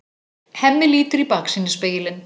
Hemmi lítur í baksýnisspegilinn.